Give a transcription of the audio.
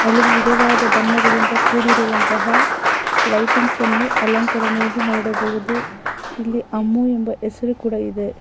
ವಿಧವಾದ ಬಣ್ಣಗಳಿಂದ ಕೂಡಿರುವಂತಹ ಲೈಟಿಂಗ್ಸ್ ಅನ್ನು ಅಲಂಕಾರಣೆಯನ್ನು ನೋಡಬಹುದು ಇಲ್ಲಿ ಅಮೂಲ್ ಹೆಸರು ಕೂಡ ಇದೆ.